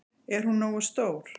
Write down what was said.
Er hún nógu stór?